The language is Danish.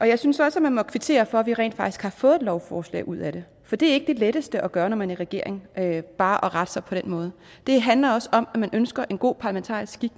jeg synes også at man må kvittere for at vi rent faktisk har fået et lovforslag ud af det for det er ikke det letteste at gøre når man er i regering bare at rette sig på den måde det handler også om at man ønsker en god parlamentarisk skik